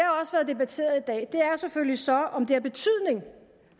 har selvfølgelig så om det har betydning